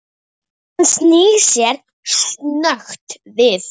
Hann snýr sér snöggt við.